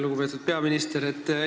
Lugupeetud peaminister!